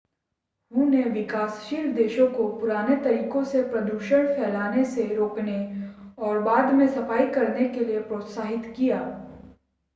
हू ने विकासशील देशों को पुराने तरीकों से प्रदूषण फैलाने से रोकने और बाद में सफाई करने के लिए प्रोत्साहित किया।